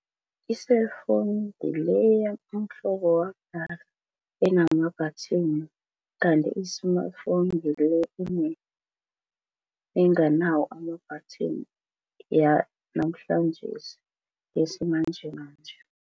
I-cellphone ngileya umhlobo wakudala enama-button kanti i-smartphone ngile enganawo ama-button, yanamhlanjesi yesimanjemanje.